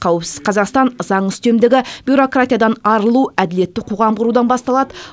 қауіпсіз қазақстан заң үстемдігі бюрократиядан арылу әділетті қоғам құрудан басталады